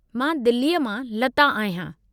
मां दिल्लीअ मां लता आहियां।